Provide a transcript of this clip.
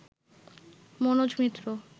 Manoj Mitra